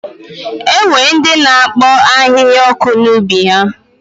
E nwere ndị na-akpọ ahịhịa ọkụ n'ubi ha.